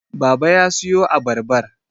baba ya siyo abarbar